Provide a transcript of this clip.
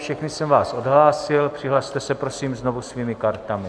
Všechny jsem vás odhlásil, přihlaste se prosím znovu svými kartami.